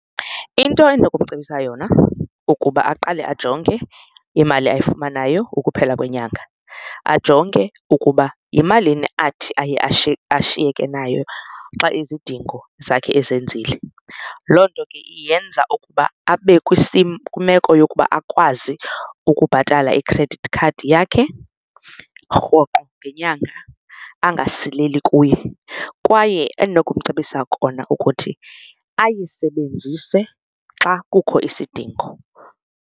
Into endinokumcebisa yona ukuba aqale ajonge imali ayifumanayo ukuphela kwenyanga, ajonge ukuba yimalini athi aye ashiyeke nayo xa izidingo zakhe ezenzile. Loo nto ke yenza ukuba abe kwimeko yokuba akwazi ukubhatala i-credit card yakhe rhoqo ngenyanga, angasileli kuyo, kwaye endinokumcebisa kona ukuthi ayisebenzise xa kukho isidingo.